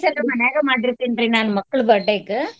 ಹಾ sweets ಎಲ್ಲಾ ಮನ್ಯಾಗ ಮಾಡಿರ್ತೇನ್ ರೀ ನಾ ಮಕ್ಳ್ birthday ಗ್.